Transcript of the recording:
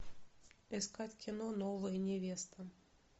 искать кино новая невеста